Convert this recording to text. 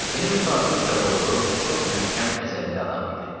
Yeni müsafir ucaboylu, çox möhkəm əzəlli adam idi.